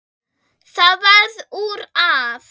Það varð úr að